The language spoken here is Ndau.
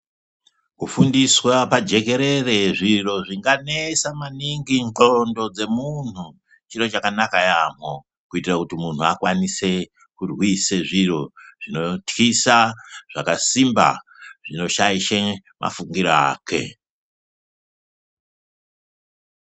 Kufundiswa pajekerere zviro zvinganesa maningi ndxondo dzemuntu chiro chakanaka yaamho kuitira kuti muntu akwanise kurwise zviro zvinotkisa zvakasimba zvinoshaisha mafungiro ake.